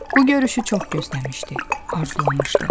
Bu görüşü çox gözləmişdi, arzulamışdı.